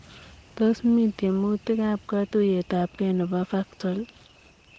Tos mi tiemutikap katuiyet ap gei nepo Vactal?